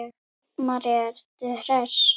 María: Ertu bara hress?